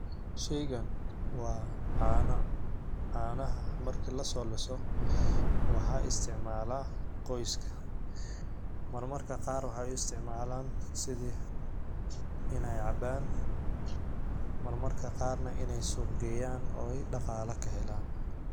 Sheygan waa caana. Caanaha marki la soo leeyso wax istiicmaalla qoyska. Marmarka qaar waxa u isticmaalaa sidii inay caabaan marmarka qaarna inay suq geyaan oo ay dhaqaale ka heleen.